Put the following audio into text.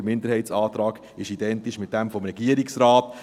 Der Minderheitsantrag ist identisch mit demjenigen des Regierungsrates.